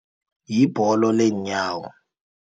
Yibholo leenyawo.